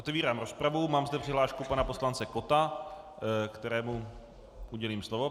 Otevírám rozpravu, mám zde přihlášku pana poslance Kotta, kterému udělím slovo.